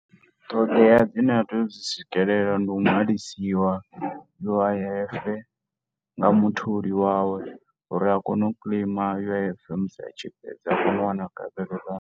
Ṱhoḓea dzine a tea u dzi swikelela ndi u nwalisiwa U_I_F, nga mutholi wawe, uri a kone u claim U_I_F musi a tshi fhedza, a kone u wana